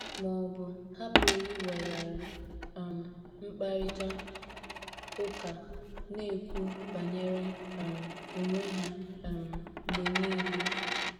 Ma ọ bụ, ha pụrụ iweghara um mkparịta ụka, na - ekwu banyere um onwe ha um mgbe nile.